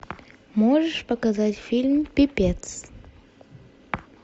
можешь показать фильм пипец